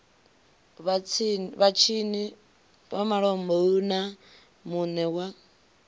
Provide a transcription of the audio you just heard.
vhatshini malombe na mune wa